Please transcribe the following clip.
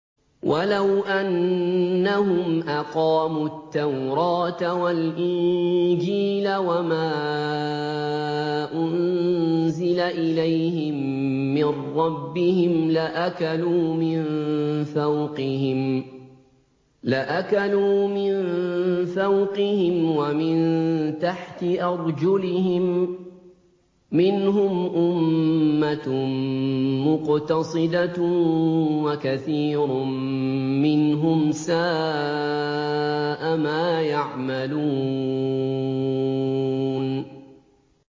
وَلَوْ أَنَّهُمْ أَقَامُوا التَّوْرَاةَ وَالْإِنجِيلَ وَمَا أُنزِلَ إِلَيْهِم مِّن رَّبِّهِمْ لَأَكَلُوا مِن فَوْقِهِمْ وَمِن تَحْتِ أَرْجُلِهِم ۚ مِّنْهُمْ أُمَّةٌ مُّقْتَصِدَةٌ ۖ وَكَثِيرٌ مِّنْهُمْ سَاءَ مَا يَعْمَلُونَ